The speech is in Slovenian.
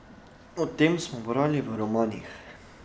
O tem smo brali v romanih.